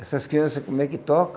Essas crianças, como é que toca?